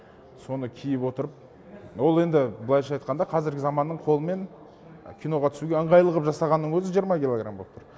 соны киіп отырып ол енді былайша айтқанда қазіргі заманның қолымен киноға түсуге ыңғайлы қылып жасағанның өзі жиырма килограмм болып тұр